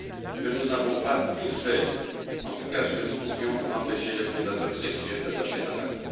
que nous n'avons pas tout fait en tout cas ce que nous pouvions pour empêcher les prédateurs sexuels de passer à l'acte.